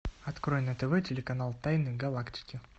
открой на тв телеканал тайны галактики